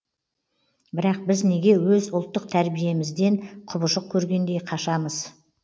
бірақ біз неге өз ұлттық тәрбиемізден құбыжық көргендей қашамыз